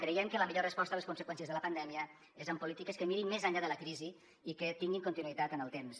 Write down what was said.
creiem que la millor resposta a les conseqüències de la pandèmia és amb polítiques que mirin més enllà de la crisi i que tinguin continuïtat en el temps